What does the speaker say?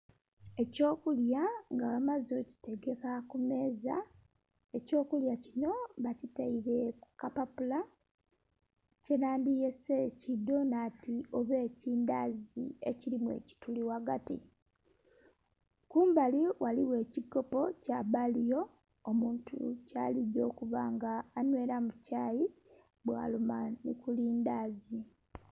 Ekyokulya nga bamaze okitegeka kumeeza, ekyokulya kinho bakiteire kukapapula kyenhandhyese kidhonhanti oba ekindhazi ekirimu ekituli ghagati. Kumbali ghaligho ekikopo kyabaliyo omuntu kyaligya okubanga anhwiramu kyayi bwaluma nhi kulindhazi.